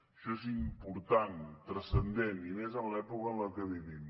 això és important transcendent i més en l’època en la que vivim